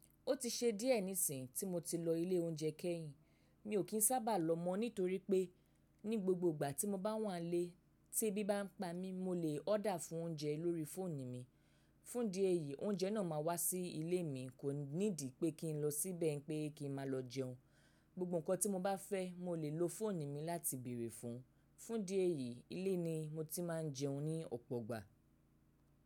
Ó ti ṣe díẹ̀ nísìnyí tí mo ti lọ ilé oúnjẹ kẹ́yìn. Mi ò kín sábà lọ mọ́ nítorí pé ní gbogbo ìgbà tí mo bá wà nílé tí ẹbí bá ń pa mí, mo lè order fún oúnjẹ lórí fóònù mi. Fún dí ẹ̀yìí oúnjẹ náà máa wá sí ilé mi, kò need pé kí n lọ síbẹ̀ pé kí n máa lọ jẹun. Gbogbo nǹkan tí mo bá fẹ́, mo lè lo fóònù mi láti bèrè fún un. Fún díẹ̀ yìí, ilé ni mo ti máa ń jẹun ní ọ̀pọ̀ ìgbà.